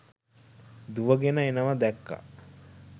දුවගෙන එනවා දැක්කා